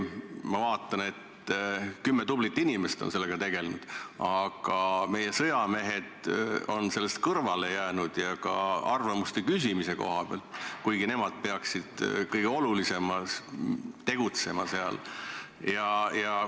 Ma vaatan, et kümme tublit inimest on sellega tegelenud, aga meie sõjamehed on sellest kõrvale jäänud, ka arvamuste küsimise koha pealt, kuigi nemad peaksid kõige olulisemana selles töös kaasa lööma.